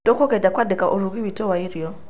Tũkũgeria kũandĩka ũrugi witũ wa irio.